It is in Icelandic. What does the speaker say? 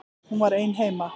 Hún var ein heima.